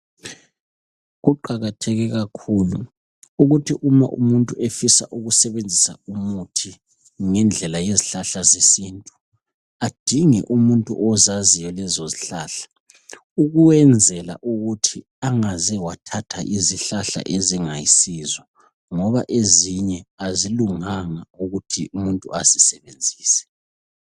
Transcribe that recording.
Kuqakatheke kakhulu ukuthi uma umuntu efisa ukusebenzisa umuthi ngendlela yezihlahla zesintu adinge umuntu ozaziyo lezo zihlahla ukwenzela ukuthi angaze wathatha izihlahla ezingayisizo ngoba ezinye azilunganga ukuthi umuntu azisebenzise .